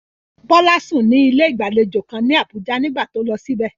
Bola sùn ní ilé ìgbàlejò kan ní Abuja nígbà tó lọ síbẹ̀.